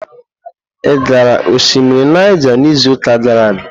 Ị gara osimiri Naija n'izuụka gara aga?